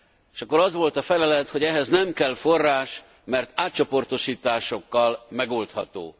És akkor az volt a felelet, hogy ehhez nem kell forrás, mert átcsoportosításokkal megoldható.